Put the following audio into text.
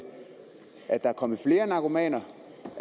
at der er kommet flere narkomaner